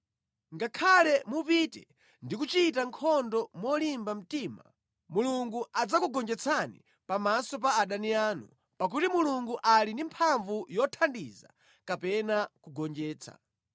Ngakhale mupite ndi kuchita nkhondo molimba mtima, Mulungu adzakugonjetsani pamaso pa adani anu, pakuti Mulungu ali ndi mphamvu yothandiza kapena kugonjetsa.”